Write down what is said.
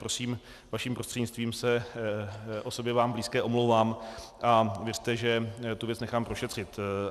Prosím, vaším prostřednictvím se osobě vám blízké omlouvám a věřte, že tu věc nechám prošetřit.